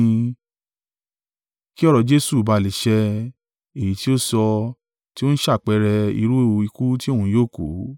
Kí ọ̀rọ̀ Jesu ba à lè ṣẹ, èyí tí ó sọ tí ó ń ṣàpẹẹrẹ irú ikú tí òun yóò kú.